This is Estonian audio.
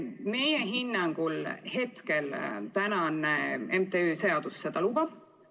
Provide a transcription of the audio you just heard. Meie hinnangul praegune MTÜ-de seadus seda lubab.